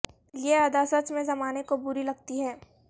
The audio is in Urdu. یہ ادا سچ میں زمانے کو بری لگتی ہے